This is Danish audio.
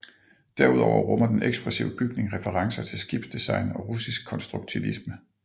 Derudover rummer den ekspressive bygning referencer til skibsdesign og russisk konstruktivisme